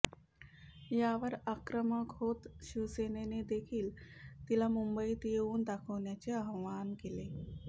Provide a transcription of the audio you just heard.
यावर आक्रमक होत शिवसेनेने देखील तिला मुंबईत येऊन दाखवण्याचे आव्हान केले